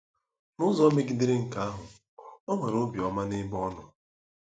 N'ụzọ megidere nke ahụ, o nwere obiọma n'ebe ọ nọ.